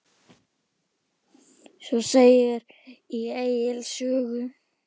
Svo segir í Egils sögu